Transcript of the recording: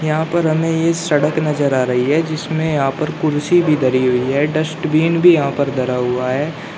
यहां पर हमें ये सड़क नजर आ रही है जिसमें यहां पर कुर्सी भी धरी हुई है डस्टबिन भी यहां पर धरा हुआ है।